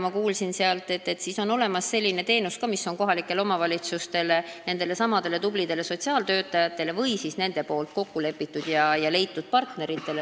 Meil on olemas ka selline teenus nagu võlanõustamisteenus, mida pakuvad kohalikud omavalitsused, needsamad tublid sotsiaaltöötajad või kokkulepitud, nende leitud partnerid.